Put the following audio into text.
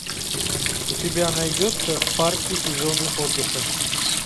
у тебя найдется парки и зоны отдыха